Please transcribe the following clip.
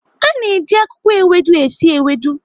A na-eji akwụkwọ ewedu esi ewedu.